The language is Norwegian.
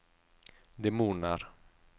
demoner